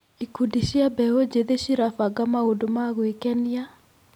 Ikundi cia mbeũ njĩthĩ cirabanga maũndũ ma gwĩkenia.